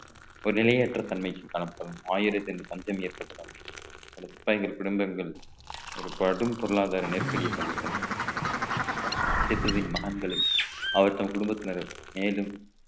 ஒரு நிலையற்ற தன்மைக்கு காணப்படும் ஆயிரத்தில் பஞ்சம் ஏற்பட்டதாகும் பல சிப்பாயின் குடும்பங்கள் கடும் பொருளாதார நெருக்கடியை சந்தித்தன பெற்றதின் மகன்களும் அவர் தம் குடும்பத்தினரும் மேலும்